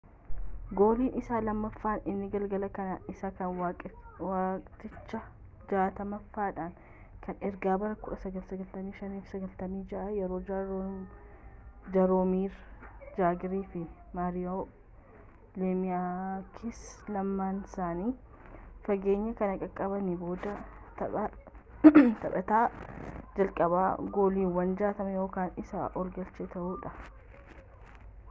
gooliin isaa lammaffaan inni galgala kanaa isa kan waqtichaa 60ffaadha kan erga bara 1995-96 yeroo jaaroomir jaagir fi maariyoo leemiyaaksi lamaansaanii fageenya kana qaqqabanii booda taphataa jalqabaa gooliiwwan 60 yookaan isaa ol galche ta'uudhaan